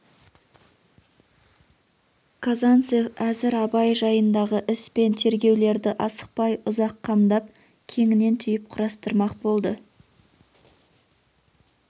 казанцев әзір абай жайындағы іс пен тергеулерді асықпай ұзақ қамдап кеңінен түйіп құрастырмақ болды